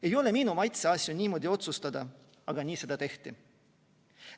Ei ole minu maitse asju niimoodi otsustada, aga nii seda tehti.